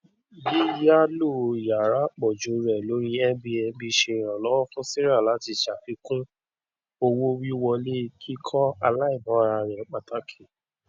yíyàlò yàrá àpòjù rẹ lórí airbnb ṣe ìrànlọwọ fún sarah láti ṣàfikún owówíwọlé kíkọ aláìmórà rẹ pàtàkì